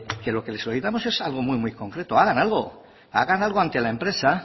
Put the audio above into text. que lo que le solicitamos es algo muy muy concreto hagan algo hagan algo ante la empresa